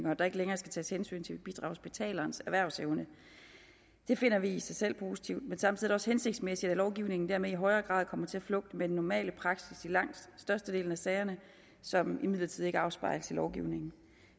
og at der ikke længere skal tages hensyn til bidragsbetalerens erhvervsevne det finder vi i sig selv positivt men samtidig også hensigtsmæssigt at lovgivningen dermed i højere grad kommer til at flugte med den normale praksis i langt størstedelen af sagerne som imidlertid ikke afspejles i lovgivningen